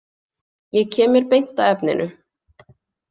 Ég kem mér beint að efninu.